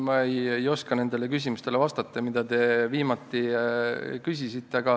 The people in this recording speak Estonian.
Ma ei oska nendele küsimustele vastata, mida te viimati küsisite.